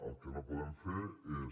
el que no podem fer és